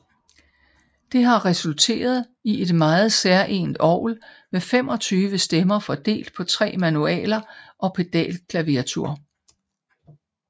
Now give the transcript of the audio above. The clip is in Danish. Det har resulteret i et meget særegent orgel med 25 stemmer fordelt på tre manualer og pedalklaviatur